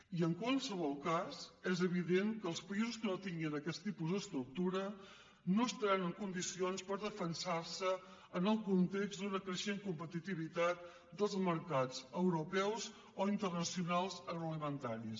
i en qualsevol cas és evident que els països que no tinguin aquest tipus d’estructura no estaran en condicions per defensar se en el context d’una creixent competitivitat dels mercats europeus o internacionals agroalimentaris